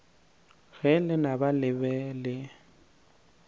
ge lenaba le be le